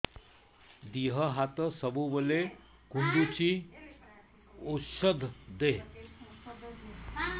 ଦିହ ହାତ ସବୁବେଳେ କୁଣ୍ଡୁଚି ଉଷ୍ଧ ଦେ